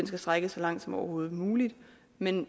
skal strækkes så langt som overhovedet muligt men